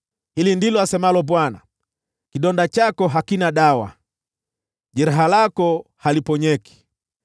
“Hili ndilo asemalo Bwana :“ ‘Kidonda chako hakina dawa, jeraha lako haliponyeki.